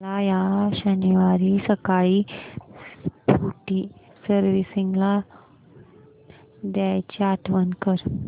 मला या शनिवारी सकाळी स्कूटी सर्व्हिसिंगला द्यायची आठवण कर